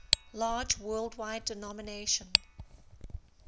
large worldwide denomination